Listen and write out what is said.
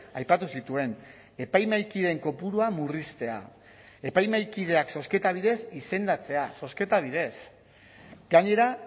aipatu zituen epaimahaikideen kopurua murriztea epaimahaikideak zozketa bidez izendatzea zozketa bidez gainera